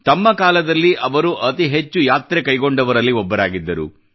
ತಮ್ಮ ಕಾಲದಲ್ಲಿ ಅವರು ಅತಿ ಹೆಚ್ಚು ಯಾತ್ರೆ ಕೈಗೊಂಡವರಲ್ಲಿ ಒಬ್ಬರಾಗಿದ್ದರು